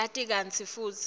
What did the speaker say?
uyati kantsi futsi